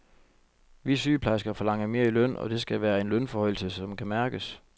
Vi sygeplejersker forlanger mere i løn, og det skal være en lønforhøjelse, som kan mærkes.